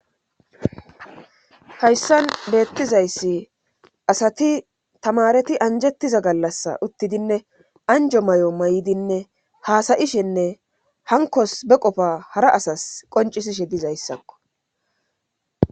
hayssan beettizayssi asati tamareti anjettiza gallassa uttidinne anjo mayo mayidinne haasayishenne hankos be qofa hara asas qoncisishe dizayssakko.